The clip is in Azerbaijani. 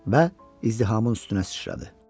Və izdihamın üstünə sıçradı.